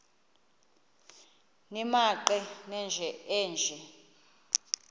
nimaqe nenje nje